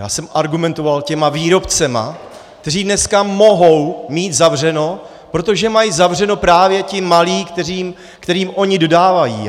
Já jsem argumentoval těmi výrobci, kteří dneska mohou mít zavřeno, protože mají zavřeno právě ti malí, kterým oni dodávají.